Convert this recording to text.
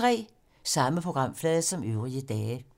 Samme programflade som øvrige dage